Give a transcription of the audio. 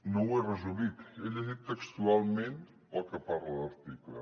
no ho he resumit he llegit textualment el que parla l’article